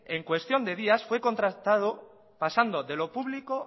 en cuestión de días fue contrastado pasando de lo público